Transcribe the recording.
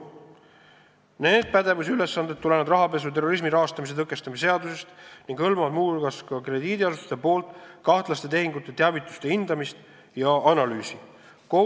Viimase pädevusülesanded tulenevad rahapesu ja terrorismi rahastamise tõkestamise seadusest ning hõlmavad muu hulgas krediidiasutuste poolt kahtlaste tehingute teavituste hindamist ja analüüsi.